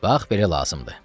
Bax, belə lazımdır.